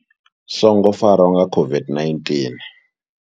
Songo farwa nga COVID-19.